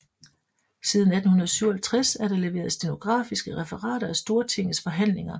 Siden 1857 er der leveret stenografiske referater af Stortingets forhandlinger